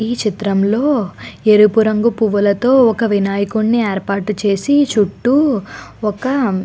ఈ చిత్రం లో ఎరుపు రంగు పూలతో ఒక వినాయకుడిని ఏర్పాటు చేసి చుట్టూ ఒక --